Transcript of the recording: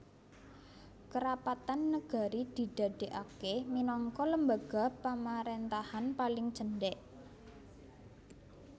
Kerapatan Nagari didadèkaké minangka lembaga pamaréntahan paling cendhèk